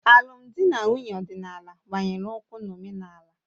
Alụmdi na nwunye ọdịnala gbanyere ukwuu na omenala